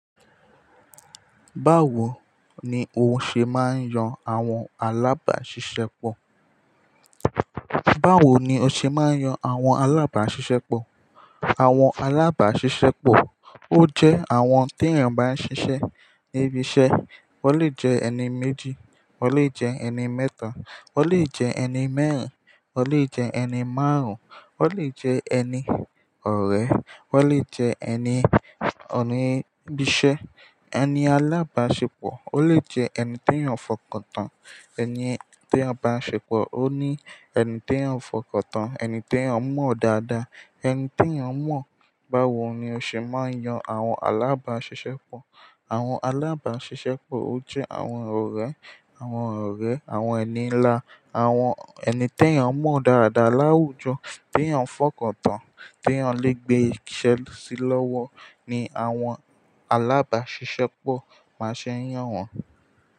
Báwo ni o ṣe máa ń yan àwọn alábáṣiṣẹ́pọ̀? Báwo ni o ṣe máa ń yan àwọn alábàáṣiṣẹ́pọ̀? Àwọn alábáṣiṣẹ́pọ̀ ó jẹ́ àwọn tí ènìyàn n bá ṣiṣẹ́ níbi iṣẹ́. O lè jẹ́ ẹni méjì, o lè jẹ́ ẹni mẹ́ta, o lè jẹ́ ẹni mẹ́rin, o lè jẹ́ ẹni márùn-ún, o lè jẹ́ ẹni ọ̀rẹ́, o lè jẹ́ ẹni oní ibíṣẹ́. Ẹni alábàáṣepọ̀ ó lè jẹ́ ẹni tí ènìyàn fọkàn tán, ẹni tí ènìyàn bá ń ṣepọ̀ ó ní ẹni tí ènìyàn ń fọkàn tán, ẹni tí ènìyàn mọ̀ dáadáa, ẹni tí ènìyàn mọ̀. Báwo ni o ṣe máa ń yan àwọn alábàáṣiṣẹ́pọ̀? Àwọn alábàṣiṣẹ́pọ̀ ó jẹ́ àwọn ọ̀rẹ́, àwọn ọ̀rẹ́, àwọn ẹni ńlá, àwọn ẹni tí ènìyàn mọ̀ dáadáa láwùjọ tí ènìyàn ń fọkàn tán, tí ènìyàn lè gbé iṣẹ́ sí lọ́wọ́ ni àwọn alábáṣiṣẹ́pọ̀ máa ṣe ń yàn wọ́n.